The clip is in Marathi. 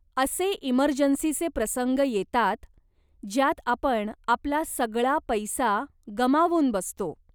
असे इमर्जन्सीचे प्रसंग येतात, ज्यात आपण आपला सगळा पैसा गमावून बसतो.